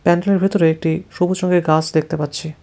প্যান্ডেলের ভিতরে একটি সবুজ রঙের গাছ দেখতে পাচ্ছি।